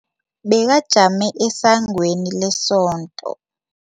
Bekajame esangweni lesonto.